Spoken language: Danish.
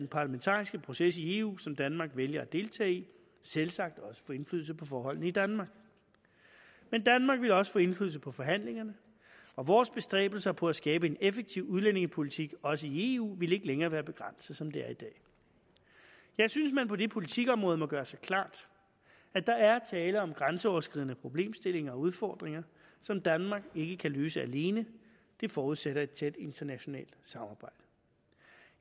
parlamentariske proces i eu som danmark vælger at deltage i selvsagt også få indflydelse på forholdene i danmark men danmark vil også få indflydelse på forhandlingerne og vores bestræbelser på at skabe en effektiv udlændingepolitik også i eu vil ikke længere være begrænset som det er i dag jeg synes man på det politikområde må gøre sig klart at der er tale om grænseoverskridende problemstillinger og udfordringer som danmark ikke kan løse alene det forudsætter et tæt internationalt samarbejde